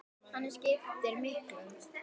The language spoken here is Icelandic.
Hann skiptir miklu.